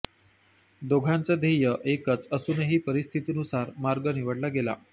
दोघांचं ध्येय एकच असूनही परिस्थितीनुसार मार्ग निवडला गेला